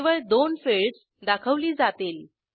केवळ दोन फिल्डस दाखवली जातील